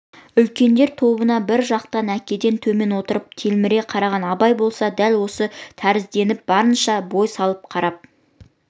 үлкендер тобына бір жақтан әкеден төмен отырып телміре қараған абай болса дәл осы тәрізденіп барынша бой салып қарап